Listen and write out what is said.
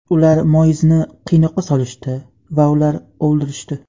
ular Moizni qiynoqqa solishdi va ular o‘ldirishdi.